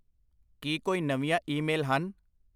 ਕੀ ਕੋਈ ਨਵੀਂਆਂ ਈਮੇਲ ਹਨ?